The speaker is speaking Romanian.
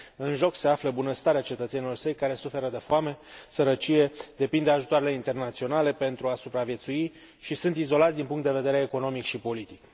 În joc se află bunăstarea cetățenilor săi, care suferă de foame, sărăcie, depind de ajutoarele internaționale pentru a supraviețui și sunt izolați din punct de vedere economic și politic.